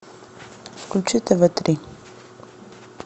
включи тв три